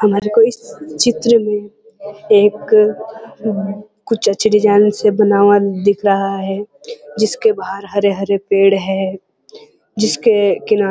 हमारे को इस चित्र मे एक अ कुछ अच्छे कुछ डिजाइन से बना हुआ दिख रहा है जिसके बहार हरे-हरे पेड़ हैं जिसके किना